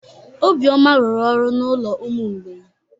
Obioma rụrụ ọrụ n'ụlọ ụmụ mgbei.